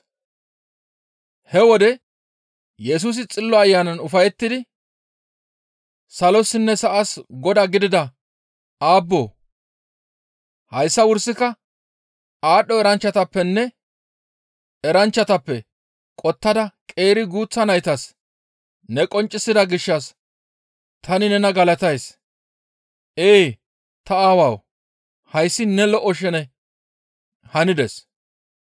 He wode Yesusi Xillo Ayanan ufayettidi, «Salossinne sa7as Godaa gidida Aabboo! Hayssa wursaka aadho eranchchatappenne eranchchatappe qottada qeeri guuththa naytas ne qonccisida gishshas tani nena galatays; ee, ta Aawawu! Hayssi ne lo7o sheney hanides.